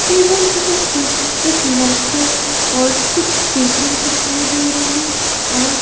table के ऊपर एक लैपटॉप और कुछ पेपर दिखाई दे रहे और--